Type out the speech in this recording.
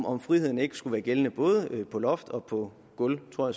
om friheden ikke skulle være gældende både på loft og på gulv tror